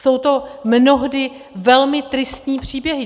Jsou to mnohdy velmi tristní příběhy.